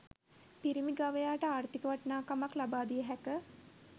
පිරිමි ගවයාට ආර්ථික වටිනාකමක් ලබා දිය හැක